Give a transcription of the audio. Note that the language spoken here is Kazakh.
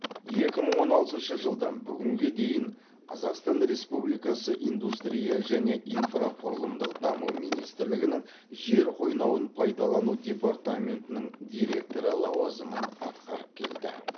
екі мың он алтыншы жылдан бүгінге дейін қазақсатан республикасы индустрия және инфрақұрылымдық даму министрлігінің жер қойнауын пайдалану департаментінің директоры лауазымын атқарып келді